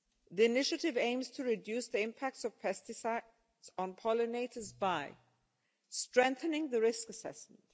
The initiative aims to reduce the impact of pesticides on pollinators by strengthening the risk assessment